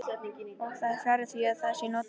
Og það er fjarri því að það sé notalegt.